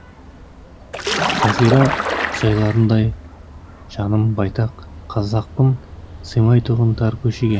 жазира жайларындай жаным байтақ қазақпын сыймайтұғын тар көшеге